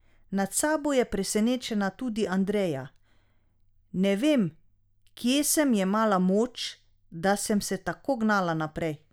Nad sabo je presenečena tudi Andreja: "Ne vem, kje sem jemala moč, da sem se tako gnala naprej".